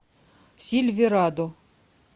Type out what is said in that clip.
сильверадо